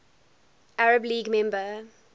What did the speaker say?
arab league member